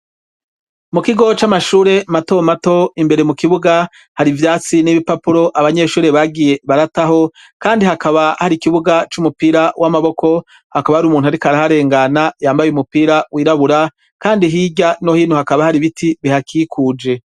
Mu kigo c'amashure matomato imbere mu kibuga hari ivyatsi n'ibipapuro abanyeshuri bagiye barataho kandi hakaba hari ikibuga c'umupira w'amaboko hakaba hari umuntu ari kariharengana yambaye umupira wirabura kandi hijya no hino hakaba hari biti bihakikuje.